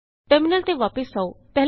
terminal ਤੇ ਵਾਪਸ ਆਉ